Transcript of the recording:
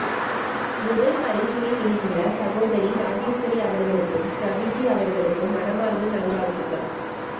முதற்பரிசினை வென்றுள்ள சகோதரி இராஜராஜஸ்வரி அவர்களுக்கும் ரவிஜி அவர்களுக்கும் மனமார்ந்த நல் வாழ்த்துக்கள்